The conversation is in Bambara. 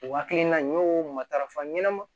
O hakilina in y'o matarafa ɲɛnɛma